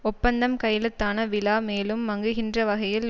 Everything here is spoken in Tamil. ஒப்பந்தம் கையெழுத்தான விழா மேலும் மங்குகின்ற வகையில்